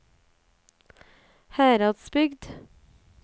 Heradsbygd